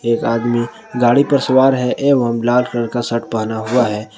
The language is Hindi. एक आदमी गाड़ी पर सवार है एवं लाल कलर का शर्ट पहना हुआ है।